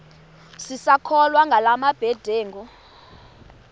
sisakholwa ngala mabedengu